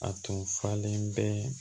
A tun falen bɛ